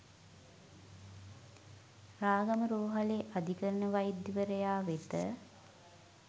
රාගම රෝහලේ අධිකරණ වෛද්‍යවරයා වෙත